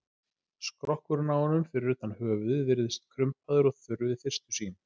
Skrokkurinn á honum, fyrir utan höfuðið, virðist krumpaður og þurr við fyrstu sýn.